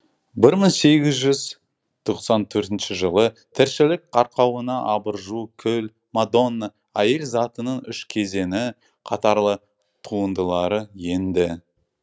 бір мың сегіз жүз тоқсан төртінші жылы тіршілік арқауына абыржу күл мадонна әйел затының үш кезеңі қатарлы туындылары енді